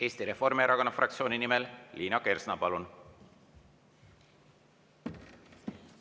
Eesti Reformierakonna fraktsiooni nimel Liina Kersna, palun!